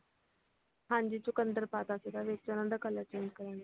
ਹਾਂਜੀ ਚੁਕੰਦਰ ਪਾਤਾ ਸੀਗਾ ਵਿੱਚ ਉਹਨਾਂ ਦਾ color change ਕਰਨ ਲਈ